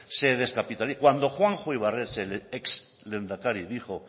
se descapitaliza cuando juanjo ibarretxe exlehendakari dijo